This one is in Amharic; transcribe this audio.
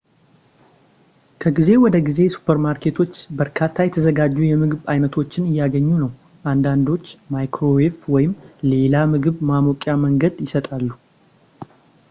ከጊዜ ወደ ጊዜ ሱፐር ማርኬቶች በርካታ የተዘጋጁ የምግብ አይነቶችን እያገኙ ነው አንዳንዶች ማይክሮዌቭ ወይም ሌላ ምግብ ማሞቂያ መንገድ ይሰጣሉ